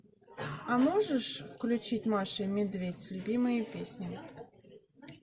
а можешь включить маша и медведь любимые песни